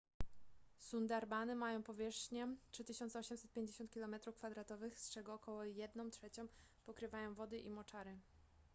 sundarbany mają powierzchnię 3850 km² z czego około jedną trzecią pokrywają wody i moczary